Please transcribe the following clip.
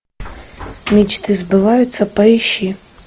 мечты сбываются поищи